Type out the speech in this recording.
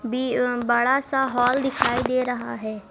B अह बड़ा सा हॉल दिखाई दे रहा है।